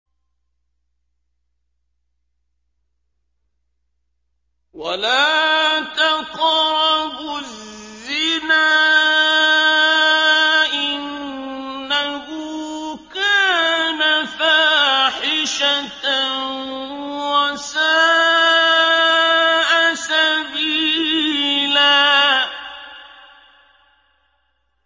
وَلَا تَقْرَبُوا الزِّنَا ۖ إِنَّهُ كَانَ فَاحِشَةً وَسَاءَ سَبِيلًا